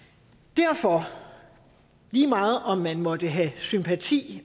derfor lige meget om man måtte have sympati